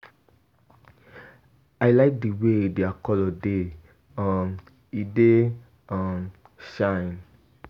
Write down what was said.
I like the way their colour dey. um E dey[um] shine.